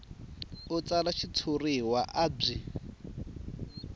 a tsala xitshuriwa a byi